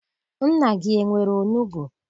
Nna gị enwere onugbu?